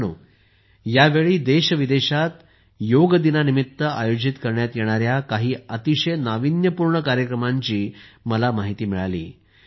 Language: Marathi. मित्रांनो यावेळी देशविदेशात योग दिनानिमित्त आयोजित करण्यात येणाऱ्या काही अतिशय नाविन्यपूर्ण कार्यक्रमांची मला माहिती मिळाली आहे